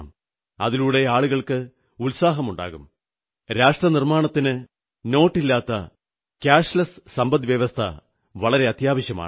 അതിലൂടെ ആളുകൾക്ക് ഉത്സാഹമുണ്ടാകും രാഷ്ട്രനിർമ്മാണത്തിന് നോട്ടില്ലാത്ത കാഷ്ലെസ് സമ്പദ്വ്യവസ്ഥ വളരെ അത്യാവശ്യമാണ്